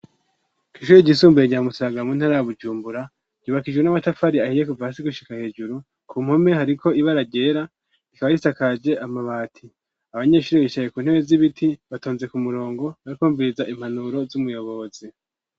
Kw'ishure ryisumbuye gyamusaraga muntaraa bujumbura ryubakaijru n'amatafari ahiye kuva sigushika hejuru ku mpome hariko ibaragera rikaba risakaje amabati abanyeshuri bichaye ku ntebe z'ibiti batonze ku murongo barikumviriza impanuro z'umuyobozi.